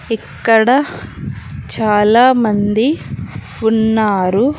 ఇక్కడ చాలామంది ఉన్నారు.